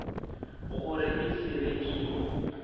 gore e se be ke